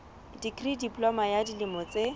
dikri diploma ya dilemo tse